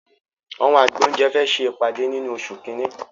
Àwọn àgbẹ̀ oúnjẹ fẹ ṣe ìpàdé nínú oṣù kínní